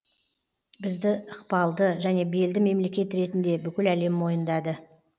бізді ықпалды және белді мемлекет ретінде бүкіл әлем мойындады